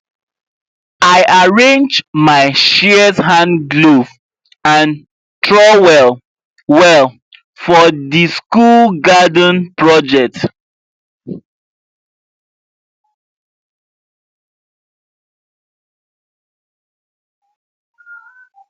i arrange my shears hand glove and trowel well for the school garden project